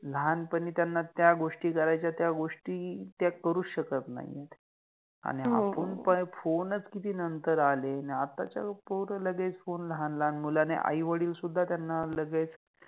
लहानपणि त्याना त्या गोष्टी करायच्या त्या गोष्टी त्या करुच शकत नाइ आहेत आणि आपण पाय फोनच किति नंतर आले आणि आत्ताचे पोर लगेच फोन लहान लहान मुल आणि आई वडिल सुद्धा त्याना लगेच